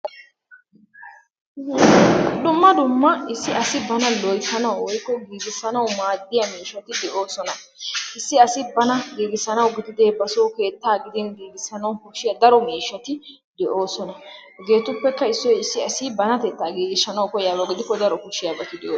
dumma dumma issi asi bana loyttanawu woykko giiggissanawu maaddiya miishshati de'oosona. issi asi bana giiggissanawu gidide basoo keettaa gidin giiggissanawu go''ettiyo daro miishshati de'oosona. Hegetuppekka issi issi asi banatetta giiggissanawu koyyiyaaba gidikko daro miishshati..